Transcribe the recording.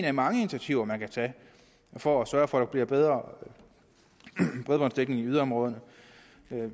af mange initiativer man kan tage for at sørge for at der bliver en bedre bredbåndsdækning i yderområderne